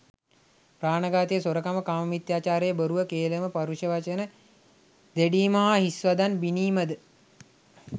ප්‍රාණඝාතය, සොරකම, කාමමිථ්‍යාචාරය, බොරුව, කේළම, ඵරුෂ වචන දෙඩීම හා හිස් වදන් බිණීම ද